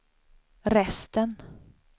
resten